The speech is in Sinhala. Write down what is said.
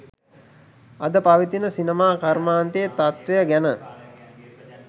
අද පවතින සිනමා කර්මාන්තයේ තත්ත්වය ගැන